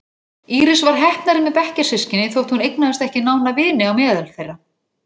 Íris var heppnari með bekkjarsystkini þótt hún eignaðist ekki nána vini á meðal þeirra.